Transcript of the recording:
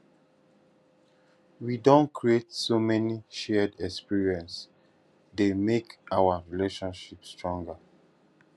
we don create so many shared experiences dey make our relationship stronger